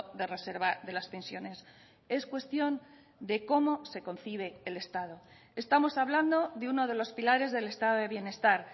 de reserva de las pensiones es cuestión de cómo se concibe el estado estamos hablando de uno de los pilares del estado de bienestar